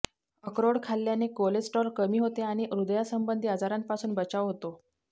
अक्रोड खाल्याने कोलेस्ट्रोल कमी होते आणि हृदयासंबंधी आजारांपासून बचाव होतो